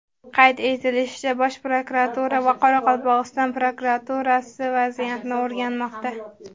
Qayd etilishicha, Bosh prokuratura va Qoraqalpog‘iston prokuraturasi vaziyatni o‘rganmoqda.